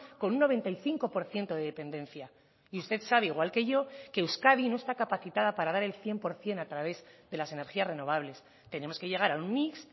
con un noventa y cinco por ciento de dependencia y usted sabe igual que yo que euskadi no está capacitada para dar el cien por ciento a través de las energías renovables tenemos que llegar a un mix